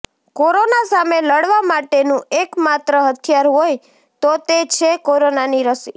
corona સામે લડવા માટેનું એક માત્ર હથિયાર હોય તો તે છે કોરોનાની રસી